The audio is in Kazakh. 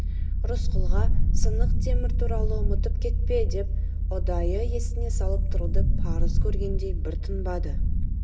рысқұлға сынық темір туралы ұмытып кетпе деп ұдайы есіне салып тұруды парыз көргендей бір тынбады